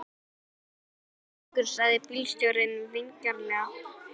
Vertu þá snöggur, sagði bílstjórinn vingjarnlega.